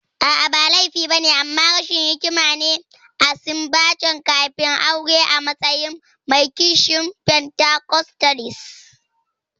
A'a, ba laifi ba ne, amma rashin hikima ne a sumbance kafin aure a matsayin mai kishin pentacostalist.